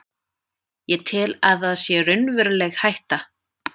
Ég tel að það sé raunveruleg hætta.